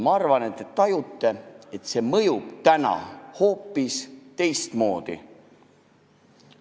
Küllap te tajute, et see mõjub täna hoopis teistmoodi kui omal ajal.